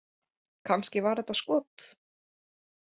Kannski var þetta skot??